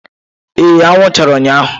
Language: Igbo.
Ee anwụ chara ụnyahụ.